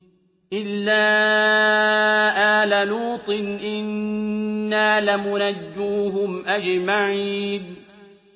إِلَّا آلَ لُوطٍ إِنَّا لَمُنَجُّوهُمْ أَجْمَعِينَ